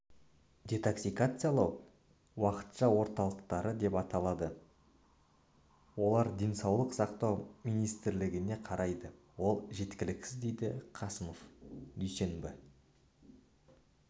детоксикациялау уақытша орталықтары деп аталады олар денсаулық сақтау министрлігіне қарайды ол жеткіліксіз деді қасымов дүйсенбі